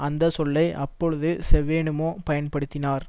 அந்த சொல்லை அப்போது செவெனுமோ பயன்படுத்தினார்